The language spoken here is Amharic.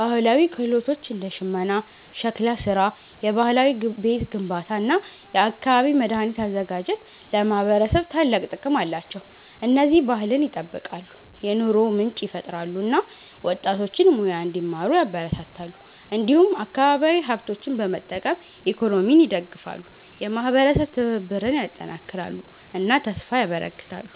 ባህላዊ ክህሎቶች እንደ ሽመና፣ ሸክላ ስራ፣ የባህላዊ ቤት ግንባታ እና የአካባቢ መድኃኒት አዘጋጅት ለማህበረሰብ ታላቅ ጥቅም አላቸው። እነዚህ ባህልን ይጠብቃሉ፣ የኑሮ ምንጭ ይፈጥራሉ እና ወጣቶችን ሙያ እንዲማሩ ያበረታታሉ። እንዲሁም አካባቢያዊ ሀብቶችን በመጠቀም ኢኮኖሚን ይደግፋሉ፣ የማህበረሰብ ትብብርን ያጠናክራሉ እና ተስፋ ያበረክታሉ።